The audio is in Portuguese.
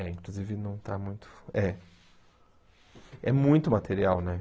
É, inclusive não está muito... É. É muito material, né?